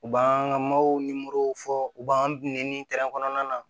U b'an ka ni morow fɔ u b'an nɛni kɔnɔna na